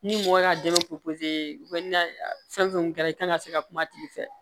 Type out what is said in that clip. Ni mɔgɔ y'a dɛmɛ fɛn fɛn kun kɛra i kana se ka kuma tigi fɛ